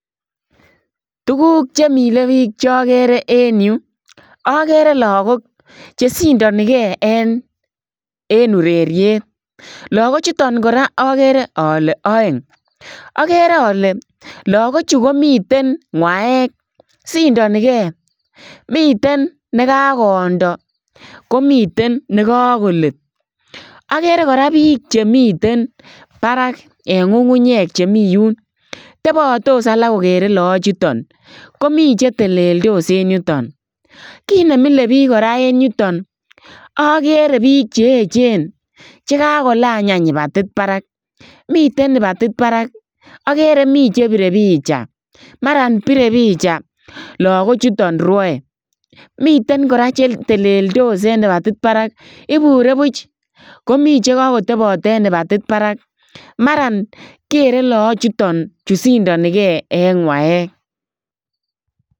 Tukuk che mile piik chokere en yu, akere lagok che sindonikei en ureriet, lagochuton kora akere ale aeng, akere ale lagochu komiten ngwaek sindonikei, miten ne kakondo komiten ne kakolet, akere kora piik chemiten barak en ngungunyek chemi yun, tebatos alak kokere lagochuton komi che teleldos en yuton, kiit ne mile piik kora en yuton, akere piik cheechen che kakolany any kibatit barak, miten kibatit barak, akere mi che pire picha, maran pire picha lagochuton rwoe, miten kora che teleldos en kibatit barak ibure buch, komi che kakotabot en kibatit barak maran keren lagochuton che sindonikei eng gwaek.